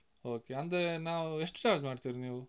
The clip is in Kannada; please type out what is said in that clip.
Okay ಅಂದ್ರೆ ನಾವು, ಎಷ್ಟು charge ಮಾಡ್ತೀರಿ ನೀವು?